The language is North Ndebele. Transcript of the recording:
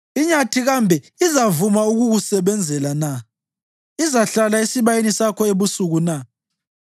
Inyathi kambe izavuma ukukusebenzela na? Izahlala esibayeni sakho ebusuku na?